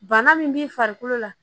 Bana min b'i farikolo la